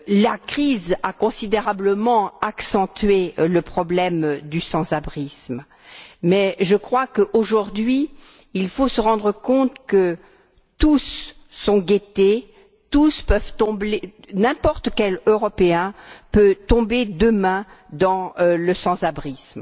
La crise a considérablement accentué le problème du sans abrisme, mais je crois que, aujourd'hui, il faut se rendre compte que tous sont menacés n'importe quel Européen peut tomber demain dans le sans abrisme.